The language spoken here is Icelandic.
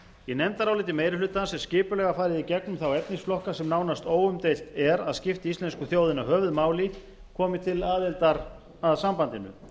í nefndaráliti meiri hlutans er skipulega farið í gegnum þá efnisflokka sem nánast óumdeilt er að skipti íslensku þjóðina höfuðmáli komi til aðildar að sambandinu